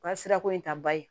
O ka sirako in ta ba ye